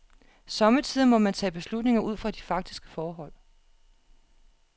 Somme tider må man tage beslutninger ud fra de faktiske forhold.